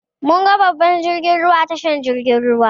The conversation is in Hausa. Mun ga babban jirgin ruwa a tashar jirgin ruwa.